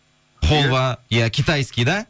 холва иә китайский да